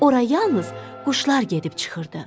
Ora yalnız quşlar gedib çıxırdı.